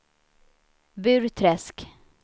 Burträsk